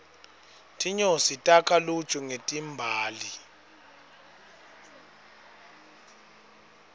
tinyosi takha luju ngetimbali